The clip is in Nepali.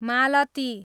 मालती